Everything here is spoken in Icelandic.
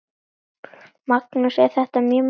Magnús: Er þetta mjög magnað?